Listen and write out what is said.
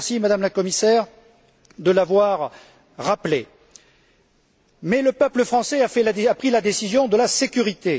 Je vous remercie, Madame la Commissaire, de l'avoir rappelé. Mais le peuple français a pris la décision de la sécurité.